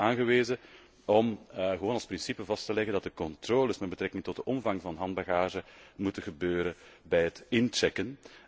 Het lijkt ons aangewezen om gewoon als principe vast te leggen dat de controles met betrekking tot de omvang van handbagage moeten gebeuren bij het inchecken.